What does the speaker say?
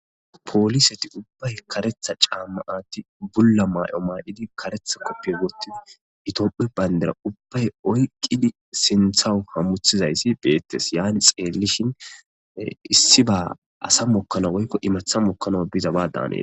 pooliseti ubbay karetha caammaati bulla maay7o maa7idi karetha koppiy guttidi itopphi bayndera ubbay oyqqidi sinthawu hammuthizayssi beettes yaani xeellishin issi ba asa mokkano woykko imetha mokkano biza waadanee